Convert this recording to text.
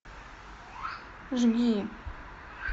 жги